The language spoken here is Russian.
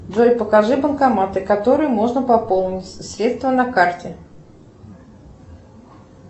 джой покажи банкоматы которые можно пополнить средства на карте